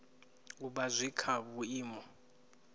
u vha zwi kha vhuimo